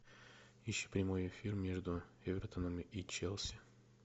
ищи прямой эфир между эвертоном и челси